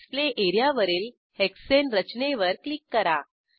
display एरियावरील हेक्साने रचनेवर क्लिक करा